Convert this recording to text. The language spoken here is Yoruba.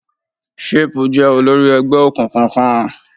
Shape jẹ́ olórí ẹgbẹ́ òkùnkùn kan.